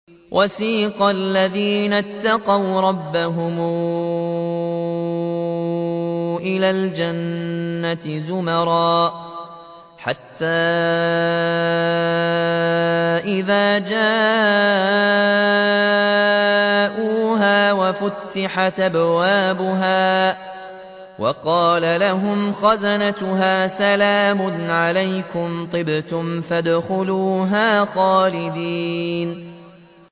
وَسِيقَ الَّذِينَ اتَّقَوْا رَبَّهُمْ إِلَى الْجَنَّةِ زُمَرًا ۖ حَتَّىٰ إِذَا جَاءُوهَا وَفُتِحَتْ أَبْوَابُهَا وَقَالَ لَهُمْ خَزَنَتُهَا سَلَامٌ عَلَيْكُمْ طِبْتُمْ فَادْخُلُوهَا خَالِدِينَ